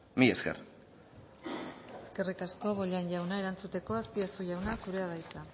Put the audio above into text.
mila esker eskerrik asko bollain jauna erantzuteko azpiazu jauna zurea da hitza